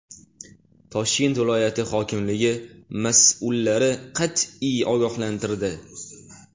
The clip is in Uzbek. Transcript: Toshkent viloyati hokimligi mas’ullarni qat’iy ogohlantirdi.